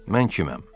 Mən kiməm?